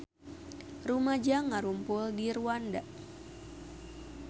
Rumaja ngarumpul di Rwanda